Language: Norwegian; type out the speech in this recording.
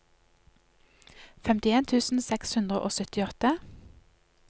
femtien tusen seks hundre og syttiåtte